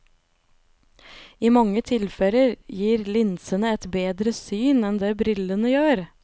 I mange tilfeller gir linsene et bedre syn enn det brillene gjør.